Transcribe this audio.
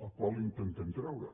del qual l’intentem treure